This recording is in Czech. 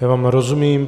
Já vám rozumím.